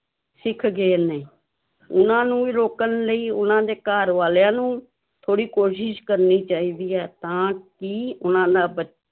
ਸਿੱਖ ਗਏ ਨੇ, ਉਹਨਾਂ ਨੂੰ ਵੀ ਰੋਕਣ ਲਈ ਉਹਨਾਂ ਦੇ ਘਰ ਵਾਲਿਆਂ ਨੂੰ ਥੋੜ੍ਹੀ ਕੋਸ਼ਿਸ਼ ਕਰਨੀ ਚਾਹੀਦੀ ਹੈ ਤਾਂ ਕਿ ਉਹਨਾਂ ਦਾ ਬ